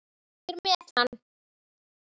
Ég er með hann.